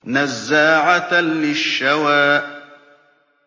نَزَّاعَةً لِّلشَّوَىٰ